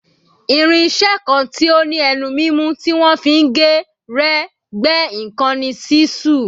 Irin-iṣẹ́ kan tí ó ní ẹnu mímú tí wọ́n fi ń gé, rẹ́, gbẹ́ nǹkan ni ṣísù.